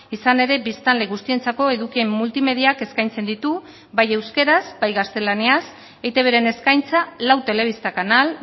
izan ere biztanle guztientzako eduki multimediak eskaintzen ditu bai euskaraz bai gaztelaniaz eitbren eskaintza lau telebista kanal